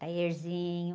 Taierzinho.